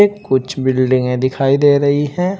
कुछ बिल्डिंगे दिखाई दे रही हैं।